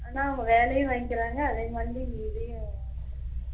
ஆனா அவங்க வேளையுன் வாங்கிறாங்க அதே மாதிரி தான் இங்க இதயும்